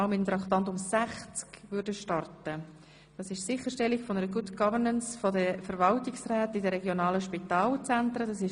Wir sind bei Traktandum 60, einem Postulat über die Sicherstellung von Good Governance bei den Verwaltungsräten in den regionalen Spitalzentren (RSZ).